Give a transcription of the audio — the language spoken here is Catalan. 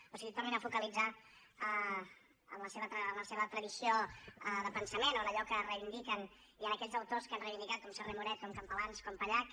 o sigui tornin a focalitzar en la seva tradició de pensament o en allò que reivindiquen i en aquells autors que han reivindicat com serra i moret com campalans com pallach